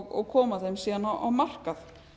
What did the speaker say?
og koma þeim síðan á markað